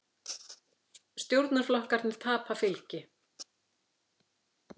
Stjórnarflokkarnir tapa fylgi